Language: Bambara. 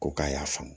Ko k'a y'a faamu